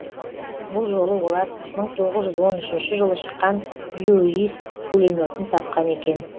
бұл жолы олар мың тоғыз жүз он үшінші жылы шыққан льюис пулеметін тапқан екен